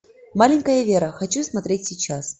маленькая вера хочу смотреть сейчас